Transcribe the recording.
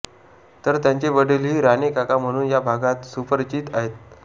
तर त्यांचे वडीलही राणे काका म्हणून या भागात सुपरिचित आहेत